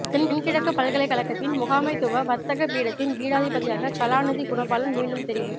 தென்கிழக்குப் பல்கலைக்கழகத்தின் முகாமைத்துவ வர்த்தக பீடத்தின் பீடாதிபதியாக கலாநிதி குணபாலன் மீண்டும் தெரிவு